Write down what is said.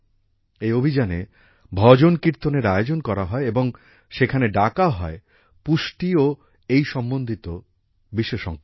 এই অভিযানে ভজন কীর্তনের আয়োজন করা হয় এবং সেখানে ডাকা হয় পুষ্টি ও এই সম্বন্ধিত বিশেষজ্ঞদের